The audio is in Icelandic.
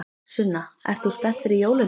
Sunna: Ert þú spennt fyrir jólunum?